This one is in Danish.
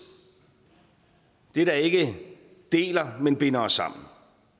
det der ikke deler men binder os sammen